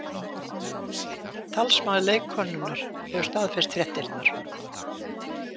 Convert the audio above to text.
Talsmaður leikkonunnar hefur staðfest fréttirnar